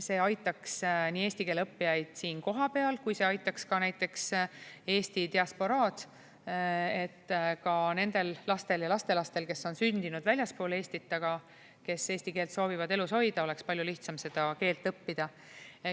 See aitaks eesti keele õppijaid nii siin kohapeal kui ka näiteks eesti diasporaad, et ka nendel lastel ja lastelastel, kes on sündinud väljaspool Eestit, aga kes eesti keelt soovivad elus hoida, oleks palju lihtsam seda keelt õppida.